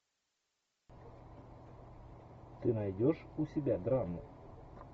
ты найдешь у себя драму